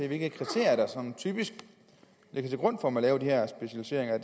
hvilke kriterier der sådan typisk ligger til grund for at man laver de her specialiseringer